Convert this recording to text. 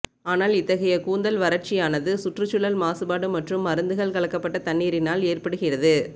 ஆனால் இத்தகைய கூந்தல் வறட்சியானது சுற்றுச்சூழல் மாசுபாடு மற்றும் மருந்துகள் கலக்கப்பட்ட தண்ணீரினால் ஏற்படுகிறது